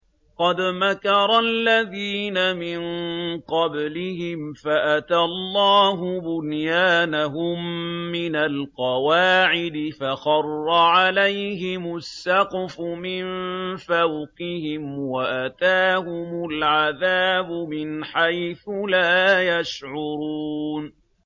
قَدْ مَكَرَ الَّذِينَ مِن قَبْلِهِمْ فَأَتَى اللَّهُ بُنْيَانَهُم مِّنَ الْقَوَاعِدِ فَخَرَّ عَلَيْهِمُ السَّقْفُ مِن فَوْقِهِمْ وَأَتَاهُمُ الْعَذَابُ مِنْ حَيْثُ لَا يَشْعُرُونَ